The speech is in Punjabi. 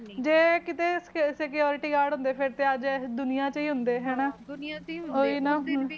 ਜੇ ਕੀਤੀ ਸਕਿਉਰਿਟੀ ਗਾਰਡ ਹੁੰਦੇ ਤਾ ਇਹ ਦੁਰਨਾ ਵਿਚਜ ਹੀ ਹੁੰਦੇ, ਹਨ